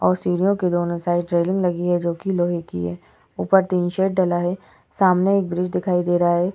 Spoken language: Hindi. और सीढ़ियों के दोनों साइड रेलिंग लगी है जोकि लोहे की है। ऊपर टीन शेड डला है। सामने एक ब्रिज दिखाई दे रहा है।